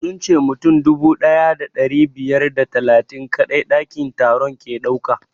Sun ce mutum dubu ɗaya da ɗari biyar da talatin kaɗai ɗakin taron ke ɗauka